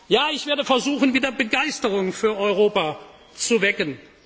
Ja, ich werde versuchen, wieder Begeisterung für Europa